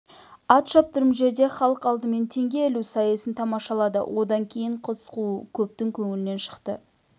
ат шаптырым жерде халық алдымен теңге ілу сайысын тамашалады одан кейін қыз қуу көптің көңілінен шықты